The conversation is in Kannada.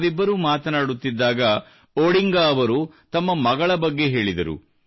ನಾವಿಬ್ಬರೂ ಮಾತನಾಡುತ್ತಿದ್ದಾಗ ಒಡಿಂಗಾ ಅವರು ತಮ್ಮ ಮಗಳ ಬಗ್ಗೆ ಹೇಳಿದರು